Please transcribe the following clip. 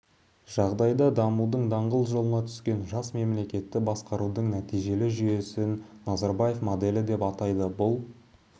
жағдайда дамудың даңғыл жолына түскен жас мемлекетті басқарудың нәтижелі жүйесін назарбаев моделі деп атайды бұл